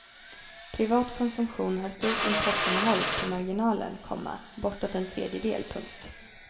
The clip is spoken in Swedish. Privat konsumtion har stort importinnehåll på marginalen, komma bortåt en tredjedel. punkt